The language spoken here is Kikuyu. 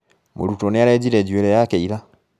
Mũrutwo nĩarenjire njuĩri yake ira